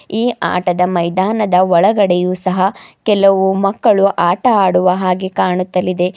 ಈ ಆಟದ ಮೈದಾನದ ಒಳಗೆಡಗೆಯು ಸಹ ಕೆಲವು ಮಕ್ಕಳು ಆಟ ಆಡುವ ಹಾಗೆ ಕಾಣುತ್ತಲಿದೆ.